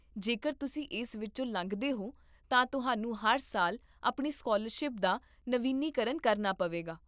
ਜੇਕਰ ਤੁਸੀਂ ਇਸ ਵਿੱਚੋਂ ਲੰਘਦੇ ਹੋ, ਤਾਂ ਤੁਹਾਨੂੰ ਹਰ ਸਾਲ ਆਪਣੀ ਸਕਾਲਰਸ਼ਿਪ ਦਾ ਨਵੀਨੀਕਰਨ ਕਰਨਾ ਪਵੇਗਾ